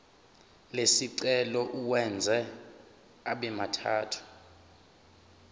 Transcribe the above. lesicelo uwenze abemathathu